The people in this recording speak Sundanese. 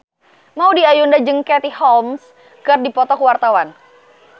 Maudy Ayunda jeung Katie Holmes keur dipoto ku wartawan